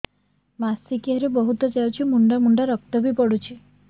ମାସିକିଆ ରେ ବହୁତ ଯାଉଛି ମୁଣ୍ଡା ମୁଣ୍ଡା ରକ୍ତ ବି ପଡୁଛି